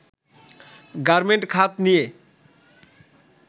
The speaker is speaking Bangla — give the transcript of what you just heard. গার্মেন্ট খাত নিয়ে